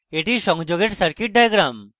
এটি সংযোগের circuit diagram